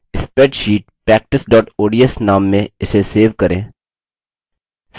spreadsheet practice ods name से इसे save करें